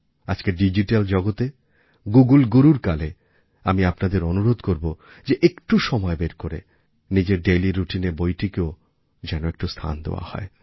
আজকের ডিজিটাল জগতে গুগল গুরুর কালে আমি আপনাদেরও অনুরোধ করব যে একটু সময় বের করে নিজের ডেইলি রুটিনে বইকেও যেন একটু স্থান দেওয়া হয়